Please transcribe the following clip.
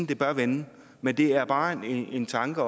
det bør vende men det er bare en tanke